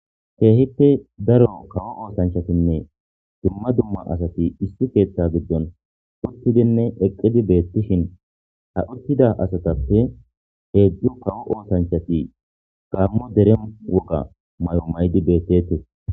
keehipe daro kawo oosanchatinne dumma dumma asati issi keeththa giddon uttidinne eqqidi beettishin ha uttida asatappe heedzdzu kawo oosanchati gammo dere woga mayo maydi beettete